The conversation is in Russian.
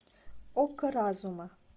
око разума